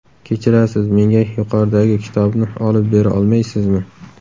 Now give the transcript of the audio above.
Kechirasiz, menga yuqoridagi kitobni olib bera olmaysizmi?